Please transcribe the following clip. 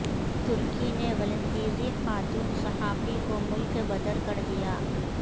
ترکی نے ولندیزی خاتون صحافی کو ملک بدر کر دیا